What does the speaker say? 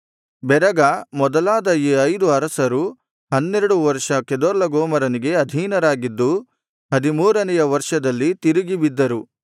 ಬೆರಗ ಮೊದಲಾದ ಈ ಐದು ಅರಸರು ಹನ್ನೆರಡು ವರ್ಷ ಕೆದೊರ್ಲಗೋಮರನಿಗೆ ಅಧೀನರಾಗಿದ್ದು ಹದಿಮೂರನೆಯ ವರ್ಷದಲ್ಲಿ ತಿರುಗಿ ಬಿದ್ದರು